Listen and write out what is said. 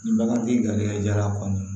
Nin bagantigi jara kɔni